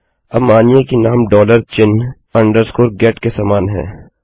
अब मानिए कि नाम डॉलर चिन्ह अधोरेखा गेट के समान है